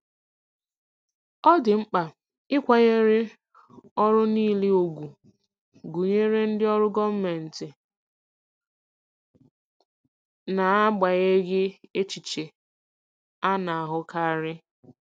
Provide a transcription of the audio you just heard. Ọ dị mkpa ịkwanyere ọrụ niile ùgwù, gụnyere ndị ọrụ gọọmentị, n'agbanyeghị echiche a na-ahụkarị.